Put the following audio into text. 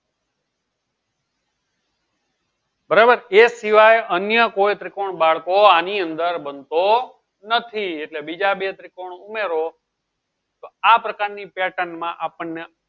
બરાબર એ સિવાય અન્ય કોઈ ત્રિકોણ બાળકો આની અંદર બનતો નથી એટલે બીજા બે ત્રિકોણ ઉમેરો તો આ પ્રકારની pattern માં આપણને